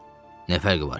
Nə fərqi var ki?